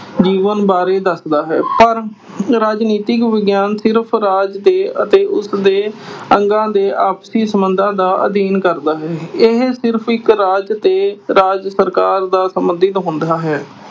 ਜੀਵਨ ਬਾਰੇ ਦੱਸਦਾ ਹੈ। ਪਰ ਰਾਜਨੀਤਿਕ ਵਿਗਿਆਨ ਸਿਰਫ਼ ਰਾਜ ਦੇ ਅਤੇ ਉਸਦੇ ਅੱਗਾਂ ਦੇ ਆਪਸੀ ਸਬੰਧਾਂ ਦਾ ਅਧਿਐਨ ਕਰਦਾ ਹੈ। ਇਹ ਸਿਰਫ਼ ਇੱਕ ਰਾਜ ਤੇ ਰਾਜ ਸਰਕਾਰ ਨਾਲ ਸਬੰਧਿਤ ਹੁੰਦਾ ਹੈ।